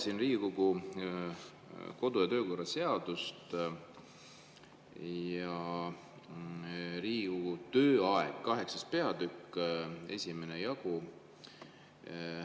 Loen Riigikogu kodu‑ ja töökorra seadust: "Riigikogu tööaeg", 8. peatükk, 1. jagu.